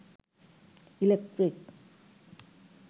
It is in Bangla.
ইলেক্ট্রিক